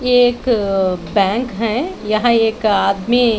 एक बैंक है यहां एक आदमी--